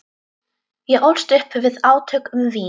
Ég ólst upp við átök um vín.